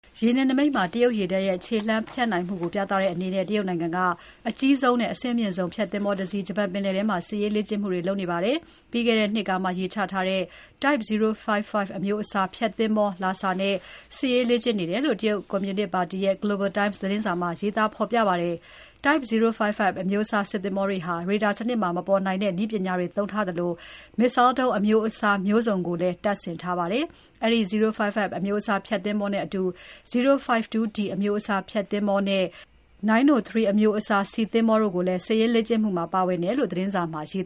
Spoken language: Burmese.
ရေနယ်နိမိတ်မှာ တရုတ်ရေတပ်ရဲ့ခြေလှမ်းဖြန့်နိုင်မှုကို ပြသတဲ့အနေနဲ့ တရုတ်နိုင်ငံက အကြီးဆုံးနဲ့ အဆင့်အမြင့်ဆုံး ဖျက်သင်္ဘောတစီး ဂျပန်ပင်လယ်ထဲမှာ စစ်ရေးလေ့ကျင့်မှုတွေလုပ်နေပါတယ်။ ပြီးခဲ့တဲ့နှစ်ကမှ ရေချထားတဲ့ Type 055 အမျိုးအစား ဖျက်သင်္ဘော Lhasa နဲ့ စစ်ရေးလေ့ကျင့်နေတယ်လို့ တရုတ်ကွန်မြူနစ်ပါတီရဲ့ Global Times သတင်းစာမှာ ဖော်ပြပါတယ်။ Type 055 အမျိုးအစား ဖျက်သင်္ဘောတွေဟာ ရေဒါစနစ်မှာ မပေါ်နိုင်တဲ့ နည်းပညာတွေသုံးထားသလို Missile ဒုံးအမျိုးအစား စုံကိုလည်း တပ်ဆင်ထားပါတယ်။ အဲဒီ 055 အမျိုးအစား ဖျက်သင်္ဘောနဲ့အတူ 052D အမျိုးအစား ဖျက်သင်္ဘော Chengdue နဲ့ ၉၀၃ အမျိုးအစား ဆီသင်္ဘောတို့လည်း စစ်ရေးလေ့ကျင့်မှုမှာပါတယ်လို့ သတင်းစာမှာရေး